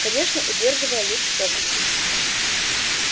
конечно удерживая луч в фокусе